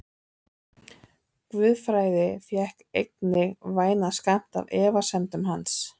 Guðfræði fékk einnig vænan skammt af efasemdum hans.